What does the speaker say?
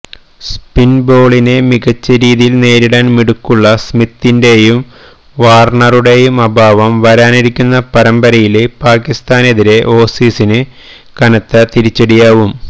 സ്പിന് ബൌളിങിനെ മികച്ച രീതിയില് നേരിടാന് മിടുക്കുള്ള സ്മിത്തിന്റെയും വാര്ണറുടെയും അഭാവം വരാനിരിക്കുന്ന പരമ്പരയില് പാകിസ്താനെതിരേ ഓസീസിന് കനത്ത തിരിച്ചടിയാവും